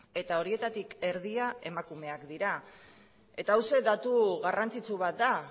eta horietatik erdia emakumeak dira eta hauxe datu garrantzitsu bat da